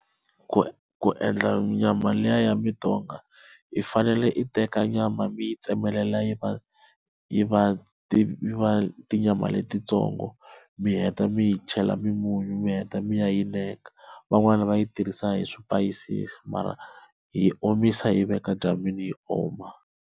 Ku ku endla nyama liya ya mutonga i fanele i teka nyama mi yi tsemelela yi va yi va ti tinyama letitsongo loko mi heta mi yi chela mimunyu mi heta mi ya yi neka van'wani va yi tirhisa hi swipayisisi mara hi omisa hi yi veka edyambyini yi oma.